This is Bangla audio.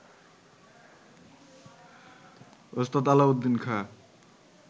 ওস্তাদ আলাউদ্দীন খাঁ